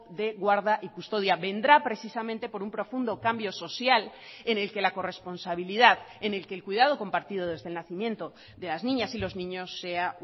de guarda y custodia vendrá precisamente por un profundo cambio social en el que la corresponsabilidad en el que el cuidado compartido desde el nacimiento de las niñas y los niños sea